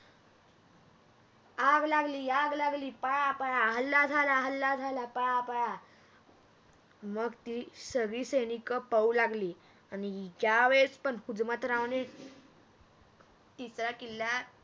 आग लागली आग लागली पळा पळा हल्ला झाला हल्ला झाला पळा पळा मग ती सगळी सैनिक पळू लागली आणि ज्या वेळेस पण हुजमतरावने तिचा किल्ला